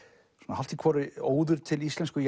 hálft í hvoru óður til íslensku